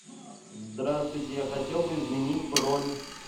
здравствуйте я хотел бы изменить бронь